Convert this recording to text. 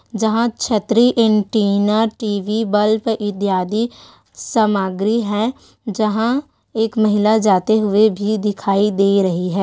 जहाँ छतरी antenna TV bulb इत्यादि सामग्री है जहाँ एक महिला जाते हुए भी दिखाई दे रही है।